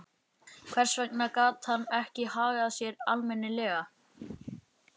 Hvers vegna gat hann ekki hagað sér almennilega?